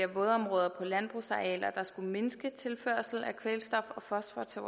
vådområder på landbrugsarealer der skulle mindske tilførsel af kvælstof og fosfor til